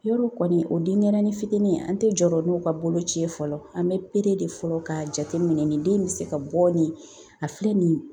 Yɔrɔ kɔni o denyɛrɛni fitinin an te jɔrɔ n'o ka boloci ye fɔlɔ an be de fɔlɔ k'a jateminɛ nin den in be se ka bɔ nin a filɛ nin ye